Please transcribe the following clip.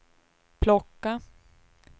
plocka